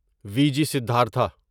we G Siddhartha